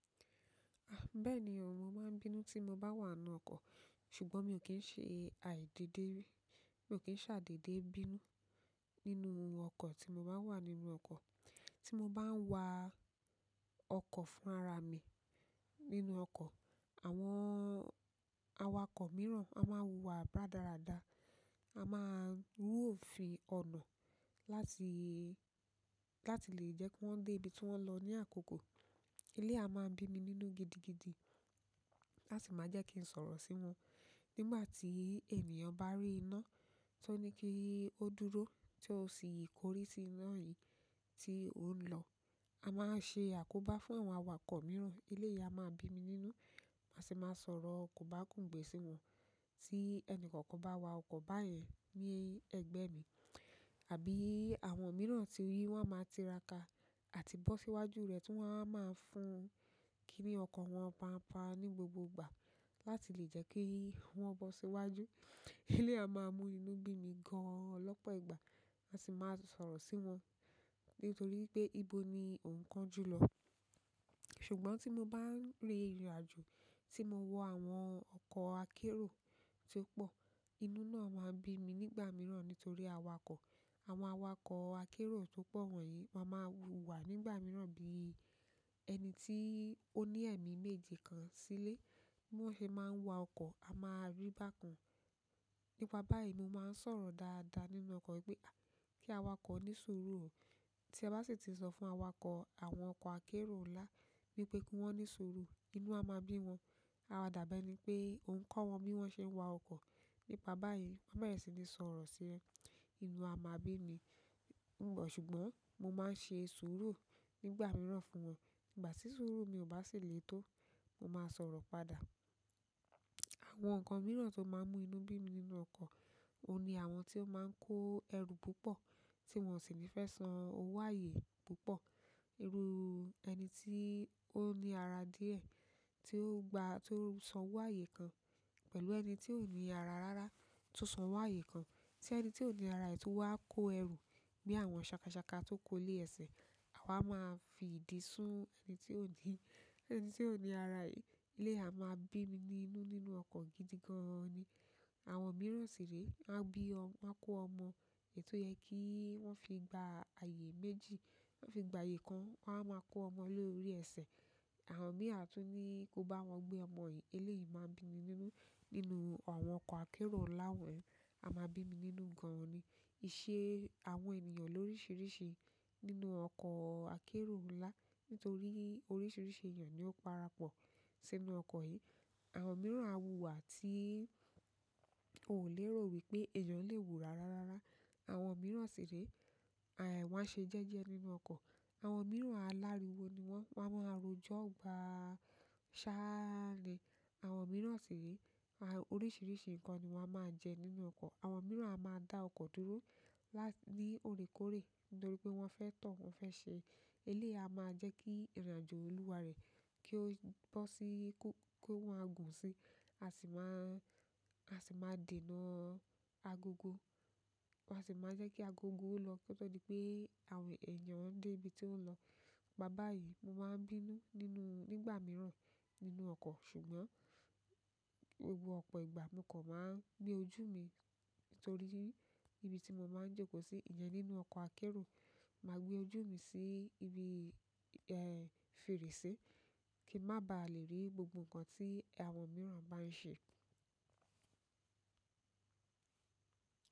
Bẹ́ẹ̀ni ò, mo máa ń bínú tí mo bá wà nínú ọkọ̀, ṣùgbọ́n mi ò kí ń ṣe àìdéde, mò kí ń ṣà déde bínú nínú ọkọ̀ tí mo bá wà nínú ọkọ̀. Tí mo bá ń wa ọkọ̀ fún ara mi nínú ọkọ̀, àwọn awakọ̀ mìíràn a máa wùwà rádaráda, won a máa rú òfin ọ̀nà láti, láti lè jẹ́ kí wọ́n dé ibi tí wón ń lọ ní àkókò. Ilé a máa ń bí mi nínú gidigidi láti máa jẹ́ kí ń sọ̀rọ̀ sí wọn. Nígbà tí ènìyàn bá rí iná tó ní kí ó dúró, tó sì kórí sí iná yìí tí ó ń ló, a máa ń ṣe àkóbá fún àwọn awakọ̀ mìíràn. Eleyii a maa bi mi nínú, ma si maa sọ̀rọ̀ kubakugbe si won. Tí ẹni kọ̀ọ̀kan bá wa ọkọ̀ báyen ní ẹgbẹ́ mi àbí àwọn mìíràn tí wọn a máa tiraka àti bọ́ síwájú rẹ̀ tí wọ́n á máa ń fún kíní ọkọ̀ wọn paapaa ní gbogbo ìgbà láti lè jẹ́ kí wọ́n bọ́ síwájú. Eléyii a máa mú inú bí mi gan-an lọ́pọ̀ ìgbà, màá sì máa sọ̀rọ̀ sí wọn. Nítorí pé ibo ni ò n kan jùlọ. Ṣùgbọ́n tí mo bá n rìnrìn-àjò tí mo wọ àwọn ọkọ̀ akérò tó pọ̀, inú náà máa ń bí mi nígbà mìíràn nítorí awakọ̀, àwọn awakọ̀ akérò tó pọ̀ wọ̀nyí, won a máa ń wùwà nígbà mìíràn bí ẹni tí ó ní ẹ̀mí méje kan sílé. Bi won ṣe máa ń wa ọkọ̀, a máa rí bá kan. Nípa báyìí mo máa ń ṣọ́ro dáadáa nínú ọkọ̀ wípé, "Kí awakọ̀ ní sùúrù ó." Ti a ba si ti so fún awakọ̀ àwọn oko akero ńlá wípé ki won ni suuru, inú a maa bi won. A wa dà bi ẹni pé ò n kọ́ wọn bí wọ́n ṣe ń wa ọkọ̀. Nípa báyìí, máa bẹ̀rẹ̀ sí ní sọ̀rọ̀ sí ẹ. Ìnú a máa bí mi, ṣùgbọ́n mo máa ń ṣe sùúrù nígbà mìíràn fún wọn. Nígbà tí sùúrù mi ò bá sì lè tó, mo máa sọ̀rọ̀ padà. Àwọn ǹkan mìíràn tó máa ń mú inú bí mi nínú ọkọ̀, òun ni àwọn tí ó máa ń kó èru púpọ̀ tí wọ́n sì ní fẹ́ san owó ààyè púpọ̀. Iru ẹni tí ó ní ara díẹ̀ tí ó gba, tí ó san owó ààyè kan pẹ̀lú ẹni tí ò ní ara rárá tó san owó ààyè kan. Tí ẹni tí ò ní ara yìí tó wá kó ẹru bí àwọn ṣakaṣaka tó kó lé ẹsẹ̀, à wa máa ń fi ìdí sún ẹni tí ò ní, ẹni tí ò ní ara yìí. Ilé a máa ń bí mi nínú nínú ọkọ̀ gidi gan-an ni. Àwọn mìíràn sì re, wọ́n a bí o-- wọ́n a kó ọmọ èyí tò yẹ kí wọ́n fi gba ààyè méjì, wọ́n fi gba ààyè kan, wọ́n á máa kó ọmọ le órí ẹsẹ̀. Àwọn mìí a tún ní kó bá wọn gbé ọmọ yìí, elẹ̀yìí máa ń bí mi nínú. Nínú àwọn ọkọ̀ akérò ńlá wọ̀nyí, a máa ń bí mi nínú gan-an ni. Íṣe àwọn ènìyàn lóríṣiríṣi nínú ọkọ̀ akérò ńlá nítorí oríṣiríṣi ènìyàn ni ó parapọ̀ sínú ọkọ̀ yìí. Àwọn mìíràn á wù wà tí ò o lérò wípé ènìyàn lè wú rarárá. Àwọn mìíràn sì re, wọ́n a ṣe jẹ́jẹ́ nínú ọkọ̀. Àwọn mìíràn aláriwo ni wọ́n, wọ́n a máa ń ròjọ gbaa ṣáà nì. Àwọn mìíràn sì re, won a-- oríṣiríṣi nǹkan ni wọ́n máa ń jẹ nínú ọkọ̀. Àwọn mìíràn á máa da ọkọ̀ dúró ní òrékórè nítorí pé wọ́n fẹ́ tọ̀, wọ́n fẹ́ ṣé. Eléyii a máa jẹ́ kí ìrìn-àjò olúwa rẹ̀ kí ó bọ́ sí, ko ko ó maa gùn sí. A sì máa, a sì máa dènà agogo. A sì máa jẹ́ kí agogo ó lọ, kó tó di pé àwọn èèyàn dé ibi tí wón ń lọ. Pa báyìí, mo máa ń bínú nínú, nígbà mìíràn nínú ọkọ̀ ṣùgbọ́n gbogbo ọ̀pọ̀ ìgbà mo kan máa ń gbé ojú mi nítorí ibi tí mo máa ń jòkó sí. Ìyẹn nínú ọkọ̀ akérò, màá gbé ojú mi sí ibi, fèrèsé kí ń má ba lè rí gbogbo ǹkan tí àwọn mìíràn bá ń sẹ.